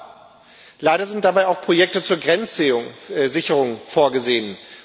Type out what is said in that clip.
Aber leider sind dabei auch Projekte zur Grenzsicherung vorgesehen.